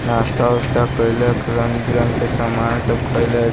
नाश्ता-उस्ता कैयला रंग-बिरंग के सामान खेला --